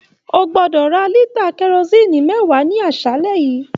O gbọdọ rà lita kerosinni mẹwa ní aṣálẹ yìí!